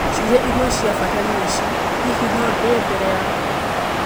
Ciũria imwe cia bata nĩ ici: Hihi no ndĩe mbere yaku?